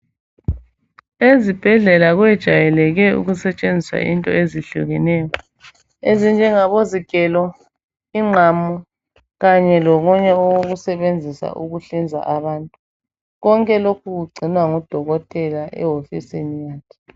Ezibhedlela kwejayeleke ukusetshenziswa into ezihlukeneyo ezinjengabozigelo ingqamu Kanye lokunye okokusebenzisa ukuhlinza abantu konke lokhu kugcinwa ngudokotela ewofisini yakhe